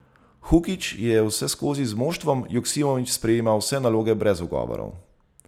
Hukić je vseskozi z moštvom, Joksimović sprejema vse naloge brez ugovorov.